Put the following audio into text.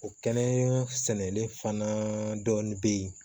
O kɛnɛ sɛnɛlen fana dɔɔnin be yen